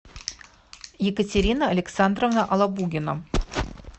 екатерина александровна лабугина